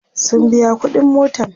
sun biya ƙuɗin motan